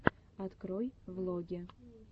открой влоги